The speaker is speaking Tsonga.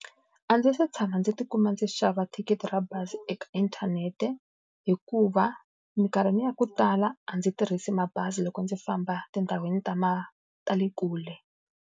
A ndzi se tshama ndzi tikuma ndzi xava thikithi ra bazi eka inthanete, hikuva minkarhi ni ya ku tala a ndzi tirhisi mabazi loko ndzi famba tindhawini ta ta le kule.